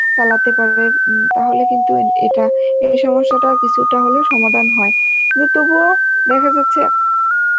চালাতে পারবে উম তাহলে কিন্তু এটা, এই সমস্যাটার কিছুটা হলেও সমাধান হয় কিন্তু তবুও দেখা যাচ্ছে